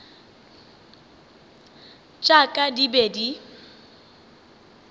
tša ka di be di